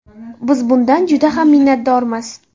Biz bundan juda ham minnatdormiz.